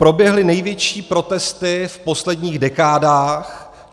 Proběhly největší protesty v posledních dekádách.